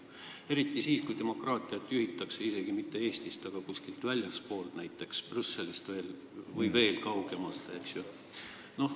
Eriti siis, kui demokraatiat juhitakse isegi mitte Eestist, vaid kuskilt väljastpoolt, näiteks Brüsselist või veel kaugemalt.